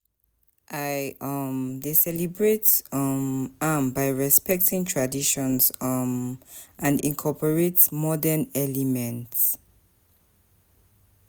i um dey celebrate um am by respecting di traditions um and incorporate modern elements.